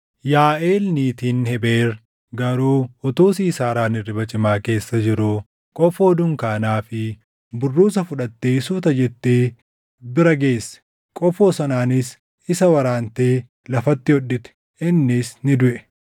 Yaaʼeel niitiin Hebeer garuu utuu Siisaaraan hirriba cimaa keessa jiruu qofoo dunkaanaa fi burruusa fudhattee suuta jettee bira geesse. Qofoo sanaanis isa waraantee lafatti hodhite; innis ni duʼe.